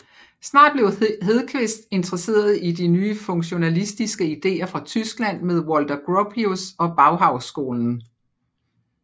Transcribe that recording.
Snart blev Hedqvist interesseret i de nye funktionalistiske idéer fra Tyskland med Walter Gropius og Bauhausskolen